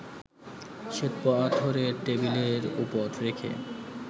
শ্বেতপাথরের টেবিলের ওপর রেখে